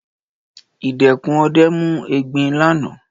Ìdẹkùn ọdẹ mú egbin lánàá.